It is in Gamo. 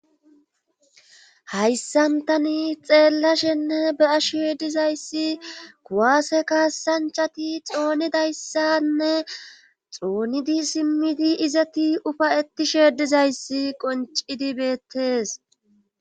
Hayssan tani xeellashenne be ashe dizayssi kuwaase kaasanchati xoonedayssanne xoonidi simmidi izati ufay etishe dizayssi qoncidi beettees.